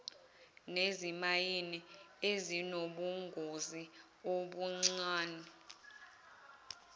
nezimayini ezinobungozi obuncane